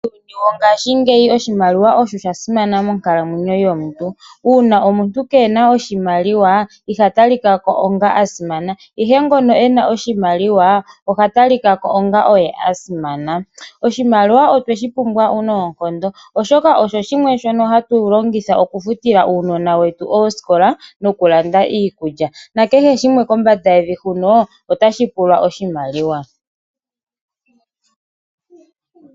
Muuyuni wongashingeyi oshimailiwa osho sha simana monkalamwenyo yomuntu uuna omuntu keena iimaliwa ihata likako onga asimana ihe ngono ena oshimaliwa ohata likako onga oye a simana oshimaliwa otweshi pumbwa noonkondo oshoka osho shimwe shono hatu longith okufutila uunona wetu oosikola nokulanda iikulya nakehe shimwe kombanda yevi huno otashi pula oshimaliwa.